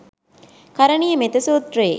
කරණීය මෙත්ත සූත්‍රයේ